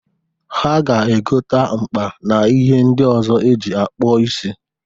Ha ga-egota mkpa n'ihe ndị ọzọ e ji akpụ isi.